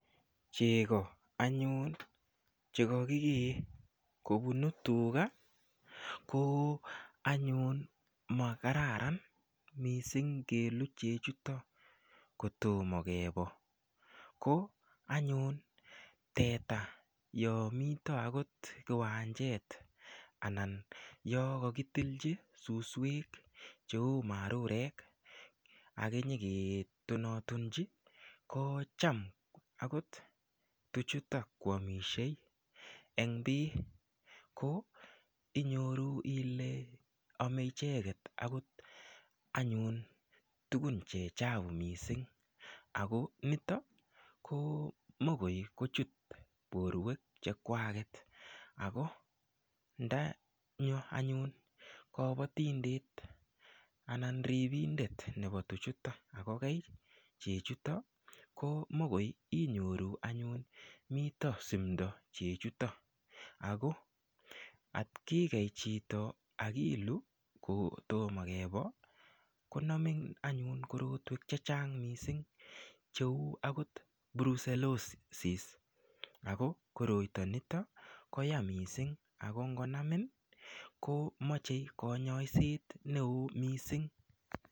Cheko anyun chekaki kee kobunu tuga ko anyun makararan mising kelu chechuto kotomo kebo ko anyun teta yo mito akot kiwanjet anan yo kokitilchi suswek cheu marurek akenyeke tonatonchi ko cham akot tuchuta koamiashei eng bii ko inyoru ile amei icheket akot anyun tukun che chapu mising ako nito ko mokoi kochut borwek chekwaket ako ndanyo anyun kobotindet anan ripindet nepo tuchuta akokey chechuto ko mokoi inyoru anyun mito sumdo chechuto ako atkikey chito akilu kotomo kebo konamin anyun korotwek che chang mising cheu akot brucellosis ako koroito nito koya mising ako ngonamin komochei konyoiset neo mising.